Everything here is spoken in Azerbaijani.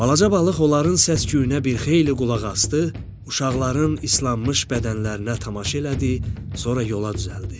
Balaca balıq onların səs-küyünə bir xeyli qulaq asdı, uşaqların islanmış bədənlərinə tamaşa elədi, sonra yola düzəldi.